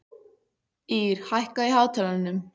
Ír, hækkaðu í hátalaranum.